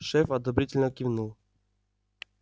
шеф одобрительно кивнул